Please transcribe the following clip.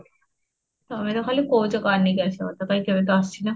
ତମେ ତ ଖାଲି କହୁଛ car ନେଇକି ଆସିବା କଥା ତ କାହିଁ କେଭେ ଆସୀନ